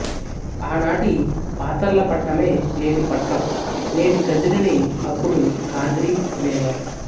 ఆనాటి పాతర్లపట్నమే నేటి పట్నం నేటి కదిరిని అప్పుడు ఖాద్రి అనేవారు